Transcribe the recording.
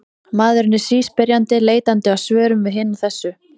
Maðurinn er síspyrjandi, leitandi að svörum við hinu og þessu.